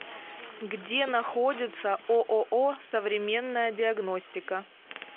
где находится ооо современная диагностика